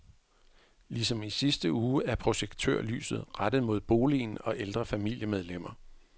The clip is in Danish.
Ligesom i sidste uge er projektørlyset rettet mod boligen og ældre familiemedlemmer.